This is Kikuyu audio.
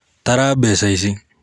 Tara mbeca ici.